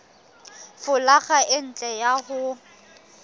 folaga e ntle ka ho